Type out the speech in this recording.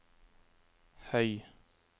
høy